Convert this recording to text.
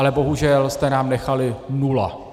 Ale bohužel jste nám nechali nula.